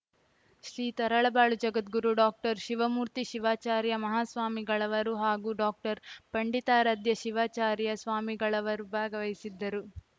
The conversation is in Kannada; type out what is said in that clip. ಶ್ರೀ ತರಳಬಾಳು ಜಗದ್ಗುರು ಡಾಕ್ಟರ್ ಶಿವಮೂರ್ತಿ ಶಿವಾಚಾರ್ಯ ಮಹಾಸ್ವಾಮಿಗಳವರು ಹಾಗೂ ಡಾಕ್ಟರ್ ಪಂಡಿತಾರಾಧ್ಯ ಶಿವಾಚಾರ್ಯ ಸ್ವಾಮಿಗಳವರು ಭಾಗವಹಿಸಿದ್ದರು